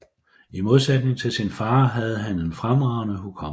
I modsætning til sin far havde han en fremragende hukommelse